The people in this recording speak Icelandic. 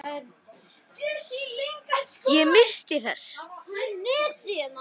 JÓN: Ég minnist þess.